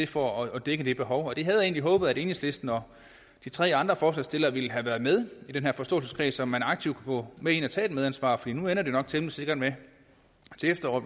for at dække det behov og der havde jeg egentlig håbet at enhedslisten og de tre andre forslagsstillere ville have været med i den her forståelseskreds så man aktivt kunne gå med ind og tage et medansvar for nu ender det nok temmelig sikkert med